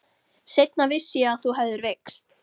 Seinna vissi ég að þú hefðir veikst.